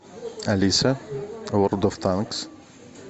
алиса ворлд оф танкс